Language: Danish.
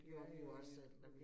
Ja ja ja ja okay